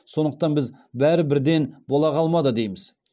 сондықтан біз бәрі бірден бола қалмады дейміз